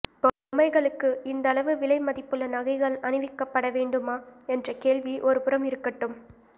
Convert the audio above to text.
பொம்மைகளுக்கு இந்தளவு விலை மதிப்புள்ள நகைகள் அணிவிக்கப்பட வேண் டுமா என்ற கேள்வி ஒருபுறம் இருக்கட்டும்